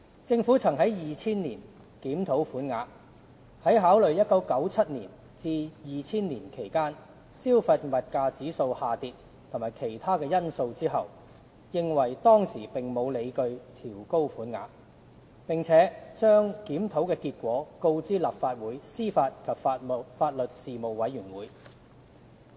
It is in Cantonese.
政府曾在2000年檢討款額，在考慮1997年至2000年期間，消費物價指數下跌及其他因素後，認為當時並沒有理據調高款額，並把檢討結果告知立法會司法及法律事務委員會。